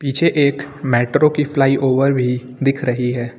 पीछे एक मेट्रो की फ्लाईओवर भी दिख रही है।